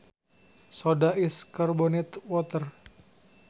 Soda is carbonated water